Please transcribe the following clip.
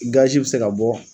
Gazi bi se ka bɔ